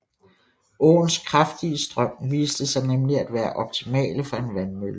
Åens kraftige strøm viste sig nemlig at være optimale for en vandmølle